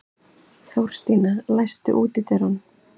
Þórstína, læstu útidyrunum.